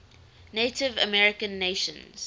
native american nations